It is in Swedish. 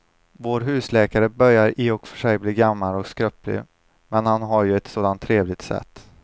Vår husläkare börjar i och för sig bli gammal och skröplig, men han har ju ett sådant trevligt sätt!